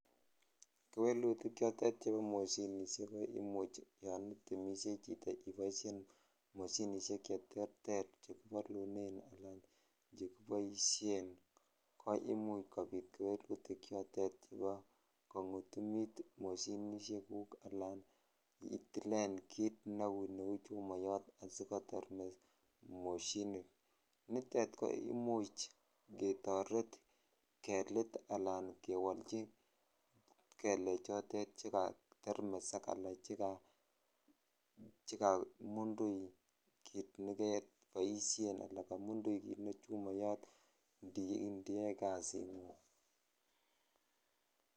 Kewelutik chotet chebo moshinisiek ko imuch yon itemisyei chito iboisien moshinisiek cheterter che kibalunen anan chekiboisien koimuch kopit kewelutik chotet chebo kongutumit moshinisiekuk anan itilen kit neu neu chumoyot asigotermes moshinit. Nitet ko imuch ketoret kelit anan kewolchi kelechotet che katermes anan che kamundui kit ne keboisien ana kamundui kit ne chumouyot ndiyoe kasingung.